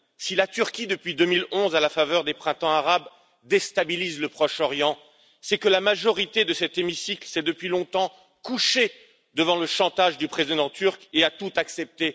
Si la Turquie, depuis 2011, à la faveur des Printemps arabes, déstabilise le Proche Orient, c'est que la majorité de cet hémicycle s'est depuis longtemps couchée devant le chantage du président turc et a tout accepté.